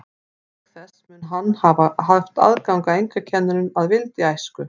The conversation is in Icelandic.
Auk þess mun hann hafa haft aðgang að einkakennurum að vild í æsku.